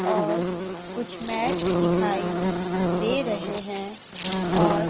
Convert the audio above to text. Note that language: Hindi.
और कुछ मैट्स दिखाई दे रहे हैं और--